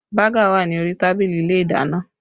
Baga wà ní orí tábìlì ilé ìdáná